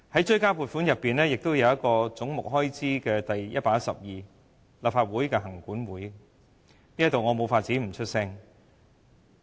追加撥款開支總目第112項是立法會行政管理委員會，我無法不就此發聲。